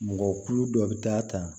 Mɔgɔ kulu dɔ bɛ taa ta